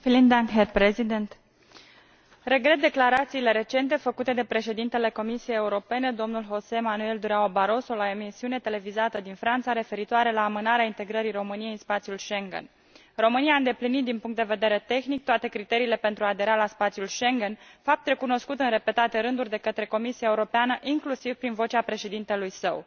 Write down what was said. Mulțumesc domnule președinte. Regret declarațiile recente făcute de președintele Comisiei Europene, domnul José Manuel Durão Barroso, la o emisiune televizată din Franța, referitoare la amânarea integrării României în spațiul Schengen. România a îndeplinit din punct de vedere tehnic toate criteriile pentru a adera la spațiul Schengen, fapt recunoscut în repetate rânduri de către Comisia Europeană, inclusiv prin vocea președintelui său.